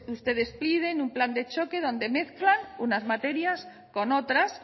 ustedes piden un plan de choque donde mezclan unas materias con otras